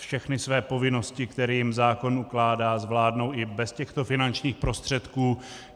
Všechny své povinnosti, které jim zákon ukládá, zvládnou i bez těchto finančních prostředků.